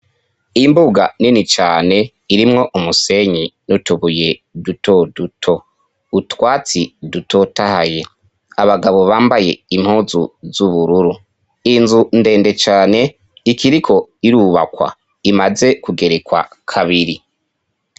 Imbuga nini cane irimwo umusenyi n'utubuye dutoduto, utwatsi dutotahaye, abagabo bambaye impuzu z'ubururu, inzu ndende cane ikiriko irubakwa, imaze kugerekwa kabiri.